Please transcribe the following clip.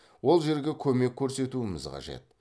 ол жерге көмек көрсетуіміз қажет